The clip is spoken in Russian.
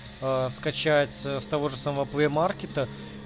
скачать с того же самого плей маркета